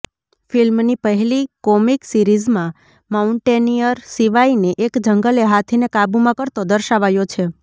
ફિલ્મની પહેલી કોમિક સિરીઝમાં માઉન્ટેનિયર શિવાયને એક જંગલે હાથીને કાબૂમાં કરતો દર્શાવાયો છે